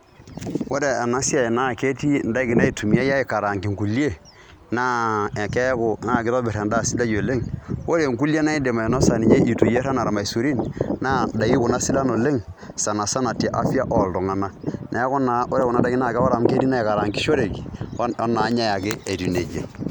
Ore ena siai ketii indaikin naitumiyai aikaraangie inkulie naa ekeeku ekitobirr endaa sidai oleng', ore inkulie naa aindim ainosa ninye itu iyieerr enaa irmaisurin naa indaikin kuna sidan oleng' sanasana te afya[ca] oltung'anak , neeku naa ore kuna daiki ore amu ketii inaaikarangishoreki netii inaanyai ake naijia.